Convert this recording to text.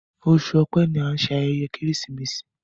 Oṣù Ọ̀pẹ́ ní an ṣe ayẹyẹ Keresimesi.